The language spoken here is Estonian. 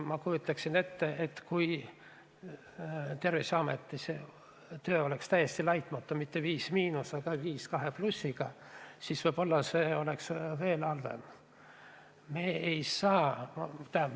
Ma kujutan ette, et kui Terviseameti töö oleks täiesti laitmatu – mitte "5–", aga "5++" –, siis see oleks võib-olla isegi halvem.